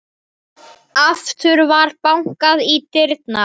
Aftur var bankað á dyrnar.